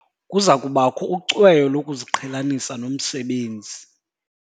Kuza kubakho ucweyo lokuziqhelanisa nomsebenzi.